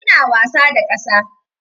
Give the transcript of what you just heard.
Suna wasa da ƙasa.